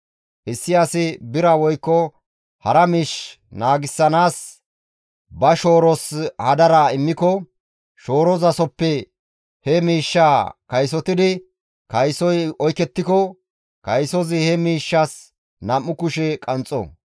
«Issi asi bira woykko hara miish naagissanaas ba shooros hadara immiko, shoorozasoppe he miishshaa kaysotida kaysozi oykettiko, kaysozi he miishshas nam7u kushe qanxxo.